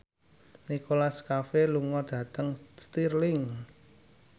Nicholas Cafe lunga dhateng Stirling